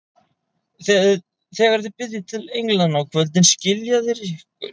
Þegar þið biðjið til englanna á kvöldin, skilja þeir ykkur.